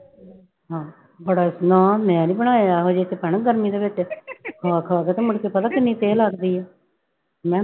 ਹਾਂ ਬੜਾ, ਨਾ ਮੈਂ ਨੀ ਬਣਾਏ ਇਹੋ ਜਿਹੇ ਚ ਭੈਣੇ ਗਰਮੀ ਦੇ ਵਿੱਚ ਖਾ ਖਾ ਕੇ ਤੇ ਮੁੜਕੇ ਪਤਾ ਕਿੰਨੀ ਥੇਹ ਲੱਗਦੀ ਆ, ਮੈਂ